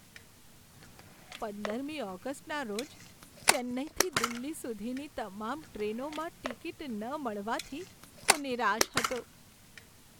પંદરમી ઓગસ્ટના રોજ ચેન્નાઈથી દિલ્હી સુધીની તમામ ટ્રેનોમાં ટિકિટ ન મળવાથી હું નિરાશ હતો.